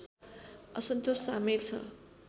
असन्तोष सामेल छ